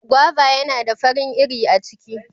Guava yana da farin iri a ciki.